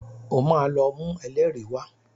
Ó máa lọ mú ẹlẹ́rìí wá.